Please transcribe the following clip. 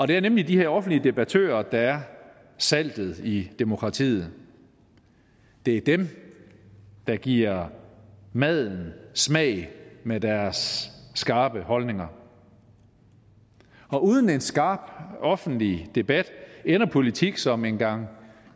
det er nemlig de her offentlige debattører der er saltet i demokratiet det er dem der giver maden smag med deres skarpe holdninger og uden en skarp offentlig debat ender politik som en gang